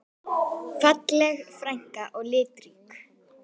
Falleg frænka og litrík.